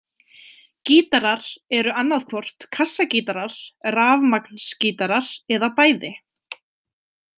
Gítarar eru annað hvort kassagítarar, rafmagnsgítarar eða bæði.